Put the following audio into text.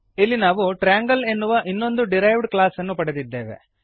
ಇಲ್ಲಿ ನಾವು ಟ್ರಯಾಂಗಲ್ ಎನ್ನುವ ಇನ್ನೊಂದು ಡಿರೈವ್ಡ್ ಕ್ಲಾಸ್ ನ್ನು ಪಡೆದಿದ್ದೇವೆ